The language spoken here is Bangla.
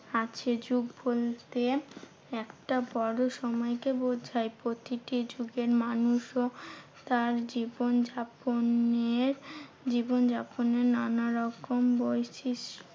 আছে। যুগ বলতে একটা বড় সময়কে বোঝায় প্রতিটি যুগের মানুষও তার জীবনযাপনের জীবনযাপরের নানারকম বৈশিষ্ট